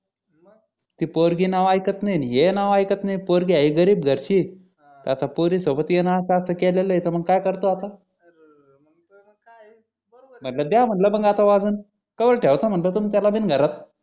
ते पोरगी नाव आयक्त नाही आणि हे नाव आयक्त नाही पोरगी आहे गरीब घरची आता पोरी सोबत याने असं असं केलेल्य तर काय करतो मग आता द्या म्हटलं मग आता वाजवून को वर ठेवता म्हटलं त्याला बिन घरात